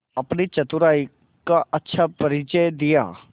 अपनी चतुराई का अच्छा परिचय दिया